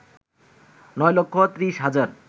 নয় লক্ষ ৩০ হাজার